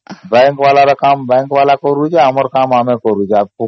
bank କମ bank କରୁଛି ଆମ କାମ ଆମେ